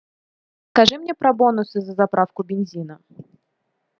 скажи мне про бонусы за заправку бензина